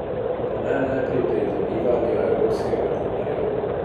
Pa ne le pri pridobivanju evropskega denarja.